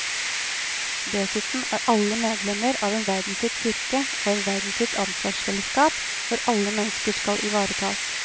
Dessuten er alle medlemmer av en verdensvid kirke og et verdensvidt ansvarsfellesskap hvor alle mennesker skal ivaretas.